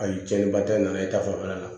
Ayi cɛnniba tɛ n na e ta fanfɛla la